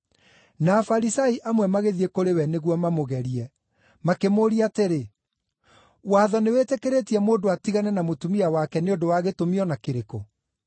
Na Afarisai amwe magĩthiĩ kũrĩ we nĩguo mamũgerie. Makĩmũũria atĩrĩ, “Watho nĩwĩtĩkĩrĩtie mũndũ atigane na mũtumia wake nĩ ũndũ wa gĩtũmi o na kĩrĩkũ?”